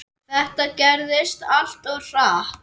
Þetta gerðist allt of hratt.